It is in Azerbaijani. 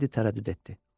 Teddi tərəddüd etdi.